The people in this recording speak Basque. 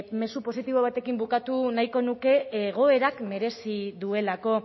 mezu positibo batekin bukatu nahiko nuke egoerak merezi duelako